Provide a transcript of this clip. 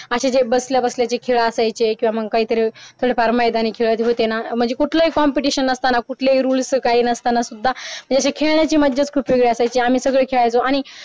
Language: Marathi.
आणि असे जे बसल्या बसल्याचे खेळ असायचे किव्हा मग पार मैदानी खेळ होत ना म्हणजे कुठलेही competition नसताना कुठलेही रूल्स काही नसताना सुद्धा जे खेळाची मज्जा खूप वेगळी असायची आम्ही सगळे खळायचो आणि